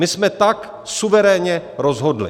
My jsme tak suverénně rozhodli.